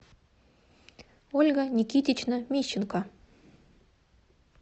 ольга никитична мищенко